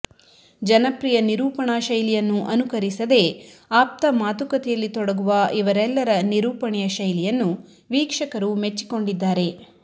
ಜನಪ್ರಿಯ ನಿರೂಪಣಾ ಶೈಲಿಯನ್ನು ಅನುಕರಿಸದೆ ಆಪ್ತ ಮಾತುಕತೆಯಲ್ಲಿ ತೊಡಗುವ ಇವರೆಲ್ಲರ ನಿರೂಪಣೆಯ ಶೈಲಿಯನ್ನು ವೀಕ್ಷಕರು ಮೆಚ್ಚಿಕೊಂಡಿದ್ದಾರೆ